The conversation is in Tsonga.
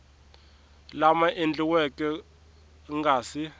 lama endliweke ku nga si